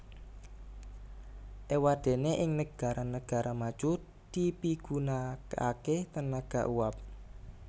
Éwadéné ing negara negara maju dipigunakaké tenaga uap